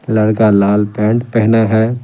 लड़का लाल पैंट पहना है।